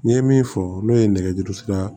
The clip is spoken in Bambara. N ye min fɔ n'o ye nɛgɛjuru sira